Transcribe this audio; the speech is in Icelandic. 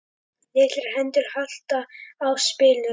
Litlar hendur halda á spilum.